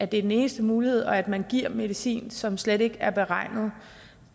den eneste mulighed og at man giver medicin som slet ikke er beregnet